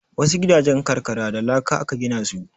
Wasu gidajen karkara da laka aka gina su.